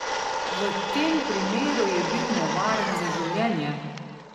V tem primeru je bil nevaren za življenje!